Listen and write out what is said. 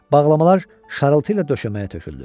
Bağlamalar şarıltı ilə döşəməyə töküldü.